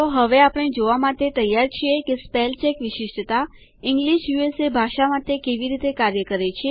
તો હવે આપણે જોવા માટે તૈયાર છીએ કે સ્પેલચેક વિશિષ્ટતા ઇંગ્લિશ યુએસએ ભાષા માટે કેવી રીતે કાર્ય કરે છે